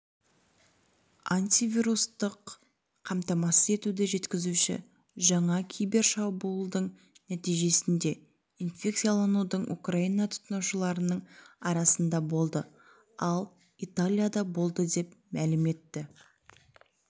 антивирустық қамтамасыз етуді жеткізуші жаңа кибер шабуылдың нәтижесінде инфекцияланудың украина тұтынушыларының арасында болды ал италияда болды деп мәлім етті